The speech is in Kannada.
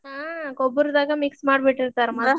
ಹಾ ಗೊಬ್ಬರದಾಗ mix ಮಾಡಿಬಿಟ್ಟಿರ್ತಾರ ಮತ್ತ್.